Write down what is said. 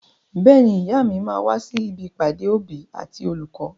Bẹ́ẹ̀ni, ìyá mi máa wà sí ibi ìpàdé òbí àti olùkọ́.